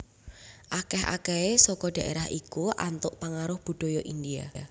Akèh akèhé saka dhaérah iku antuk pangaruh budaya India